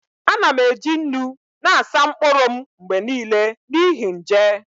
Ana m eji nnu na-asa mkpụrụ m mgbe niile n'ihi nje